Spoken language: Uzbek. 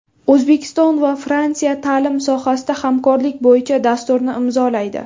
O‘zbekiston va Fransiya ta’lim sohasida hamkorlik bo‘yicha dasturni imzolaydi.